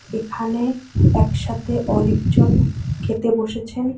এখানে একসাথে অনেক জন খেতে বসেছেন।